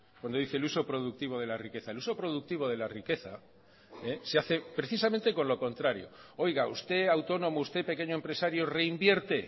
cuando dice el uso productivo de la riqueza el uso productivo de la riqueza se hace precisamente con lo contrario oiga usted autónomo usted pequeño empresario reinvierte